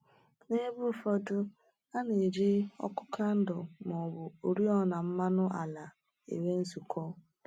N’ebe ụfọdụ, a na-eji òkù kandụl ma ọ bụ oriọna mmanụ ala enwe nzukọ.